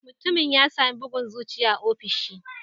Mutumin ya sami bugun zuciya a ofishin